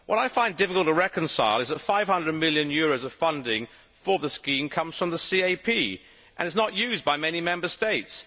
What I find difficult to reconcile is that EUR 500 million of funding for the scheme comes from the CAP and is not used by many Member States.